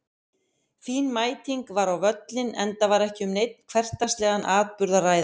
Fín mæting var á völlinn enda var ekki um neinn hversdagslegan atburð að ræða.